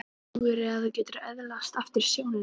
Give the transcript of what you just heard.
Trúirðu að þú getir öðlast aftur sjónina?